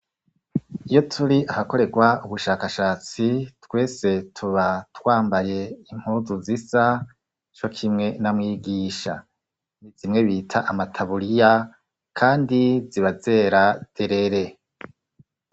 Iyo turi ahakoregwa ubushakashatsi twese tuba twambaye impuzu zisa co kimwe na mwigisha. Zimwe bita amataburiya kandi ziba zera derere.